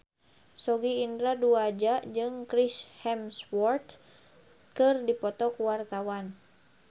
Sogi Indra Duaja jeung Chris Hemsworth keur dipoto ku wartawan